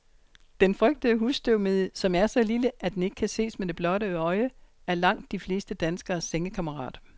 Den frygtede husstøvmide, som er så lille, at den ikke kan ses med det blotte øje, er langt de fleste danskeres sengekammerat.